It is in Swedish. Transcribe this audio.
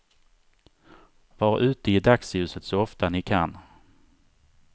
Var ute i dagsljuset så ofta ni kan.